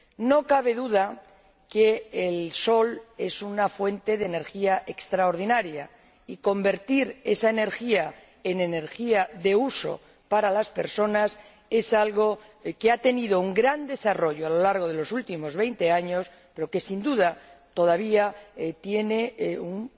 No cabe duda de que el sol es una fuente de energía extraordinaria, y convertir esa energía en energía de uso para las personas es algo que ha tenido un gran desarrollo a lo largo de los últimos veinte años, pero que, sin duda, todavía tiene un